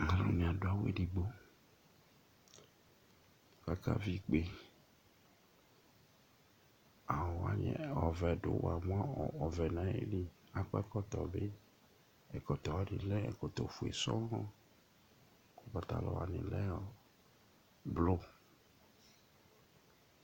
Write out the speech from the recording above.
Aluni adu awu ɛdigbo Aka vi ikpe Awu wani ɔvɛ du ayìlí Akɔ ɛkɔtɔ bi Ɛkɔtɔ wani lɛ ɛkɔtɔ fʋe sɔɔ kʋ patalɔ wani lɛ blɔ